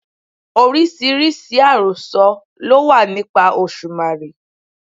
Oríṣiríṣi àròsọ ló wà nípa Òṣùmàrè.